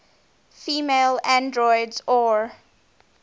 female androids or